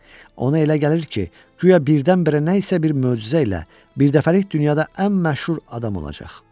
Ona elə gəlir ki, guya birdən-birə nə isə bir möcüzə ilə birdəfəlik dünyada ən məşhur adam olacaq.